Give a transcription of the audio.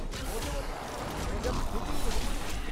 মজা মানে, মজার থেকেও বেশী কিছু!